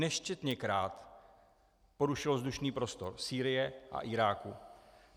Nesčetněkrát porušilo vzdušný prostor Sýrie a Iráku.